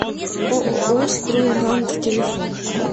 ооо строй гранд телефон